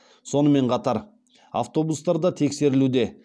сонымен қатар автобустар да тексерілуде